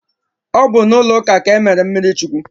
Ọ bụ n'ụlọ ụka a ka e mere m mmiri chukwu